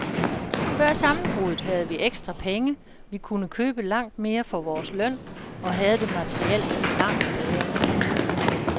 Før sammenbruddet havde vi ekstra penge, vi kunne købe langt mere for vores løn og havde det materielt langt bedre end nu.